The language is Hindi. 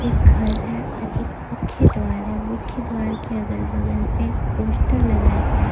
घर है और मुख्य द्वार है मुख्य द्वार के अगल बगल में पोस्टर लगाए हुए हैं।